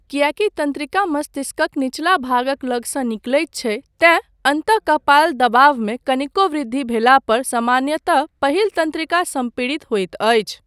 किएकी तन्त्रिका मस्तिष्कक निचला भागक लगसँ निकलैत छै, तेँ अन्तःकपाल दबावमे कनिको वृद्धि भेला पर सामान्यतः पहिल तन्त्रिका सम्पीड़ित होइत अछि।